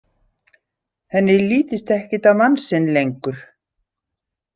Henni lítist ekkert á mann sinn lengur.